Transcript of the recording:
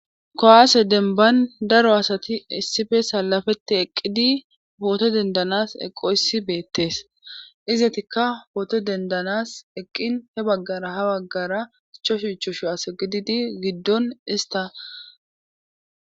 kowaase denban daro asati issife salafetti eqqidi poote dendanas eqqoyssi beettes izatikka poote dendanas eqqin he baggara ha baggara icho shuchu shu as gididi giddon ista